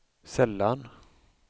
sällan